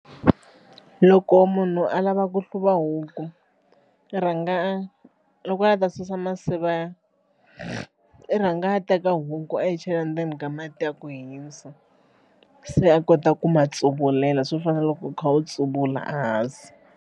Loko munhu a lava ku hluva huku i rhanga loko a lava ta susa masiva i rhanga a teka huku a yi chela ndzeni ka mati ya ku hisa se a kota ku ma tsuvulela swo fana na loko u kha u tsuvula ehansi.